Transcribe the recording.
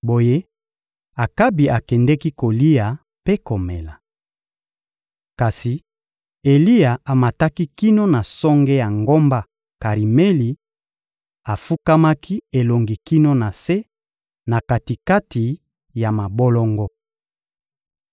Boye, Akabi akendeki kolia mpe komela. Kasi Eliya amataki kino na songe ya ngomba Karimeli, afukamaki elongi kino na se, na kati-kati ya mabolongo.